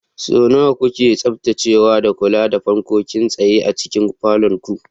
Sau nawa kuke tsaftacewa da kula da fankokin tsaye a cikin falon ku?